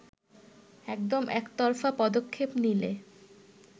এরকম একতরফা পদক্ষেপ নিলে